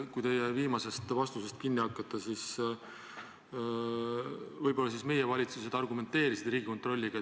Kui teie viimasest vastusest kinni hakata, siis võib-olla oli nii, et meie valitsused argumenteerisid Riigikontrolliga.